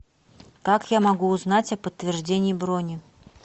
как я могу узнать о подтверждении брони